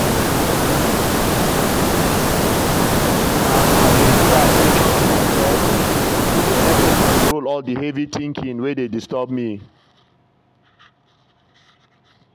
as i dey pay at ten tion to my breath e dey help me control all the heavy thinking wey dey disturb me.